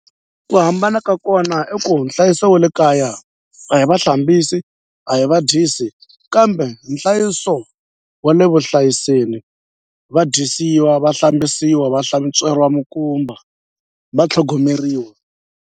Ku hambana ka kona i ku nhlayiso wa le kaya a hi va hlambisi a hi va dyisi kambe nhlayiso wa le vuhlayiseni va dyisiwa va hlambisiwa va hlantsweriwa mikumba va tlhogomeriwa.